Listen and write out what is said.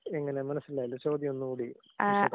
എങ്ങനെ? മനസ്സിലായില്ല. ചോദ്യം ഒന്നു കൂടി ആവർത്തിക്കാവോ?